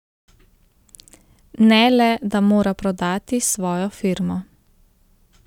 Ne le, da mora prodati svojo firmo.